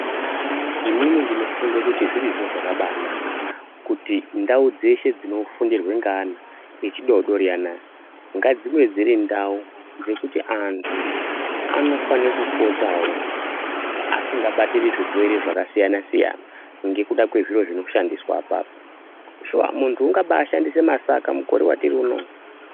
Inini ndinofunga kuti zvirizvo zvakabanaka kuti ndaudzese dzinofundirwa ngeana echidodori anaya ngadzive dzirindau dzekuti antu anofanirwa kupotawo asikabatiri zvirwere zvakasiyana siyana ngekuda kwezviro zvinoshandiswa apapo. Shuwa muntu ungaaba ashandisa masaka mukore watiri unowu.